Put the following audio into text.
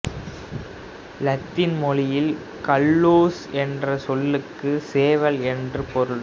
இலத்தீன் மொழியில் கல்லுஸ் என்ற சொல்லுக்கு சேவல் என்று பொருள்